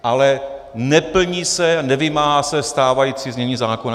Ale neplní se, nevymáhá se stávající znění zákona.